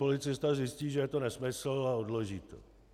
Policista zjistí, že je to nesmysl, a odloží to.